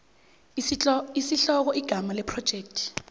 isihloko igama lephrojekthi